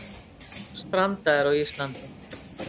Strandaðir á Íslandi